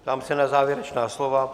Ptám se na závěrečná slova.